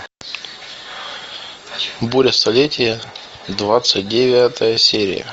буря столетия двадцать девятая серия